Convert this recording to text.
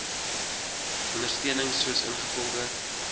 ondersteuning soos ingevolge